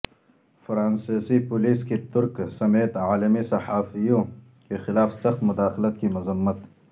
فرانسیسی پولیس کی ترک سمیت عالمی صحافیوں کے خلاف سخت مداخلت کی مذمت